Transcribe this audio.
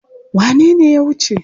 Wane ne ya wuce?